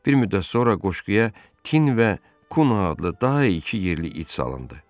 Bir müddət sonra qoşquya Tin və Kuna adlı daha iki yerli it salındı.